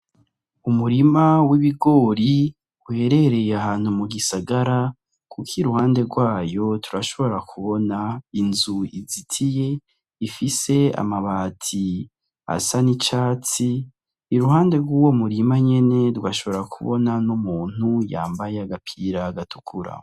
Umurima w'ibigori uherereye ahantu mu gisagara muga iruhande rwawo turashobora kubona inzu izitiye ifise amabati asa n'icatsi iruhande rwuwo murima nyene rwashobora kubona n'umuntu yambaye agapira gatukura.